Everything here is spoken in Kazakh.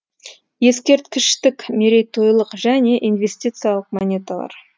ескерткіштік мерейтойлық және инвестициялық монеталар